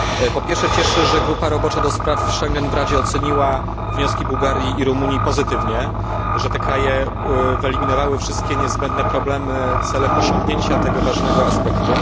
Po pierwsze, cieszy, że grupa robocza ds. Schengen w Radzie oceniła wnioski Bułgarii i Rumunii pozytywnie, że te kraje wyeliminowały wszystkie niezbędne problemy celem osiągnięcia tego ważnego aspektu.